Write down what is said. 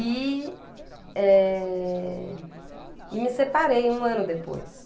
E, eh, e me separei um ano depois.